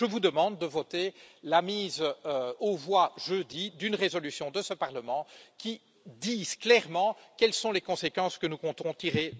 Je vous demande donc de voter la mise aux voix jeudi d'une résolution de ce Parlement qui dise clairement quelles sont les conséquences que nous comptons tirer de la situation.